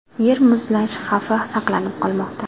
Yer muzlash xavfi saqlanib qolmoqda.